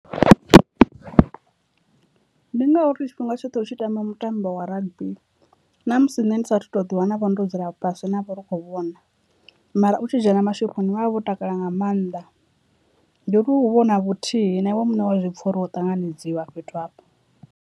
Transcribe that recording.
Ndi ngauri tshifhinga tshoṱhe u tshi tamba mutambo wa rugby na musi nne ndi sathu to ḓi wana vho ndo dzula fhasi navho ri kho vhona, mara u tshi dzhena mashoponi vhavha vho takala nga maanḓa ndi uri hu vha hu na vhuthihi na iwe muṋe wa zwipfha uri wo ṱanganedziwa fhethu hafho.